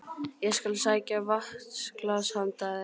Ég skal sækja vatnsglas handa þér